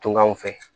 Tungan fɛ